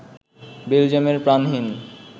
বেলজিয়ামের প্রাণহীন